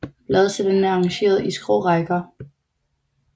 Bladcellerne er arrangeret i skrå rækker